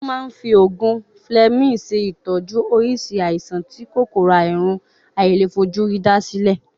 Won ma n fi ogun fleming se itoju orisi aisan ti Kòkòrò àrùn àìlèfojúrí da sile.